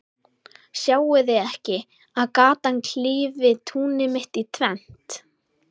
Sjáið þið ekki, að gatan klyfi túnið mitt í tvennt?